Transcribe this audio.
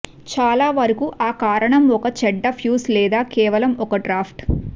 చాలా వరకు ఆ కారణం ఒక చెడ్డ ఫ్యూజ్ లేదా కేవలం ఒక డ్రాఫ్ట్